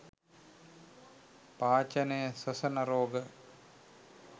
පාචනය ස්වසන රෝග